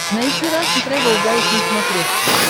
найти рашн тревел гайд на смотрешке